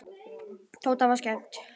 Tóta var skemmt.